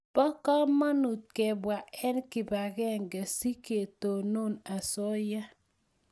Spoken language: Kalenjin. po kamanut kebwa eng kibagenge si ketonon asoya